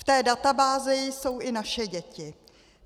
V té databázi jsou i naše děti.